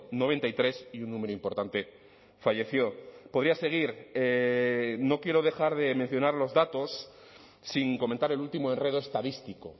noventa y tres y un número importante falleció podría seguir no quiero dejar de mencionar los datos sin comentar el último enredo estadístico